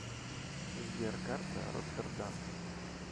сбер карта роттердам